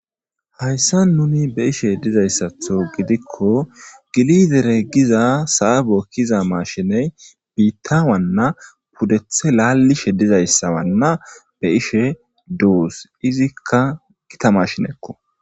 hayssa nuni be ishe dizayssatho gidikko gilidere giza saabo kiza mashiney biittawanna pudethe laallishe dizayssawanna be ishe duus izikka gita mashinekko